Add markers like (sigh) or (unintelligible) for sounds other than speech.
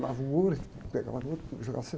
Pulava o muro, pegava (unintelligible) e jogava